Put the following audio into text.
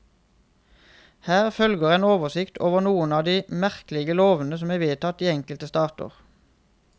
Her følger en oversikt over noen av de merkelige lovene som er vedtatt i enkelte stater.